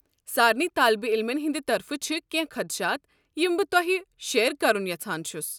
سارنٕے طٲلب علمن ہٕنٛدِ طرفہٕ چھِ کٮ۪نٛہہ خدشات یم بہٕ تۄہہِ سۭتۍ شییر كرُن یژھان چھُس۔